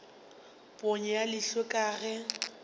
ponyo ya leihlo ke ge